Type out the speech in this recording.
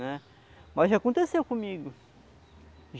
né. Mas já aconteceu comigo.